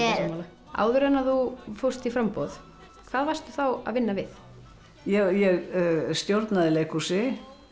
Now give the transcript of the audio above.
áður en þú fórst í framboð hvað varstu þá að vinna við ég stjórnaði leikhúsi